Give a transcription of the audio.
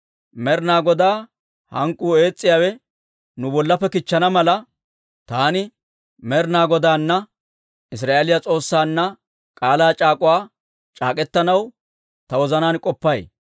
«Med'inaa Godaa hank'k'uu ees's'iyaawe nu bollappe kichchana mala, taani Med'inaa Godaana, Israa'eeliyaa S'oossaanna k'aalaa c'aak'uwaa c'aak'k'etanaw ta wozanaan k'oppay.